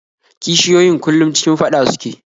Kishiyoyin kullum cikin faɗa suke